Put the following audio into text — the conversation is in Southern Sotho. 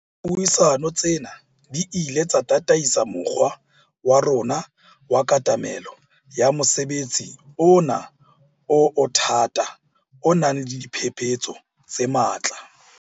Dipuisano tsena di ile tsa tataisa mokgwa wa rona wa katamelo ya mosebetsi ona o o thata o nang le diphephetso tse matla.